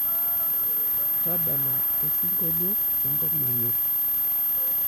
tadala osingolio le nkop nayor